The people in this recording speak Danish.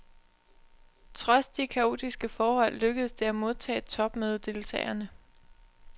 Trods de kaotiske forhold lykkedes det at modtage topmødedeltagerne.